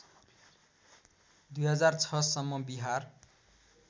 २००६ सम्म विहार